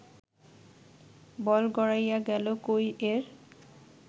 বল গড়াইয়া গেল কই-এর